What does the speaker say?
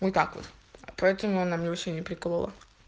так вот поэтому она мне вообще не приколола